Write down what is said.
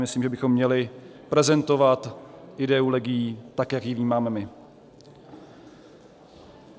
Myslím, že bychom měli prezentovat ideu legií tak, jak ji vnímáme my.